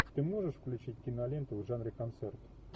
ты можешь включить киноленту в жанре концерт